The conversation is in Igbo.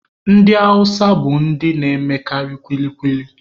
Ndị awụsa bụ ndị na-emekarị kwili kwili.